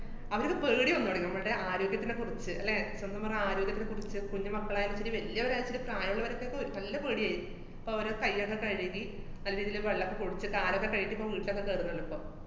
അവര്ക്ക് പേടി വന്നോടങ്ങി. നമ്മള്ടെ ആരോഗ്യത്തിനെ കുറിച്ച്, അല്ലേ, സത്യം പറഞ്ഞാ ആരോഗ്യത്തെ കുറിച്ച് കുഞ്ഞു മക്കളായാലും ശരി വല്യവരായാലും ശരി പ്രായമുള്ളവര്‍ക്കൊക്കെ ഒ~ നല്ല പേടിയായി. ഇപ്പ അവര് കൈയൊക്കെ കഴുകി നല്ല രീതീല് വെള്ളോക്കെ കുടിച്ചിട്ട് കാലൊക്കെ കഴുകീട്ട് ഇപ്പം വീട്ടിലൊക്കെ കേറുന്നുള്ളൂ ഇപ്പം.